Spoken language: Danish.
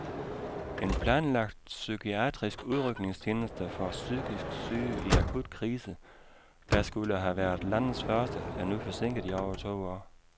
En planlagt psykiatrisk udrykningstjeneste for psykisk syge i akut krise, der skulle have været landets første, er nu forsinket i over to år.